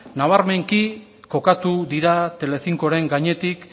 nabarmenki kokatu dira telecincoren gainetik